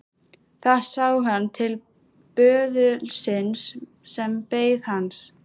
Þá sá hann til böðulsins sem beið hans.